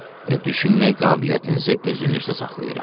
Və düşünmək qabiliyyətinizi özünüzdə saxlayıram.